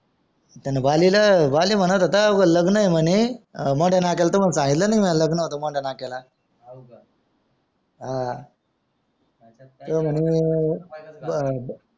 त्याने वाली ला वाली म्हणत होता व लग्न आहे म्हणे अं मोट्या नाक्या ला तुम्हाला पहिला म्हणे लग्न होता म्हणे मोट्या नाक्या ला आह